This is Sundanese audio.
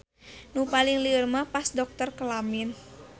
Nu paling lieur mah pas dokter kelamin.